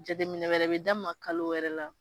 Jateminɛ wɛrɛ bɛ d'a ma kalo wɛrɛ la